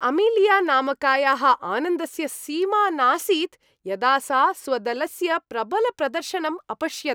अमिलिया नामकायाः आनन्दस्य सीमा नासीत् यदा सा स्वदलस्य प्रबलप्रदर्शनम् अपश्यत्।